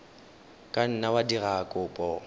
ka nna wa dira kopo